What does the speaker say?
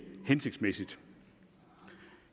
hensigtsmæssigt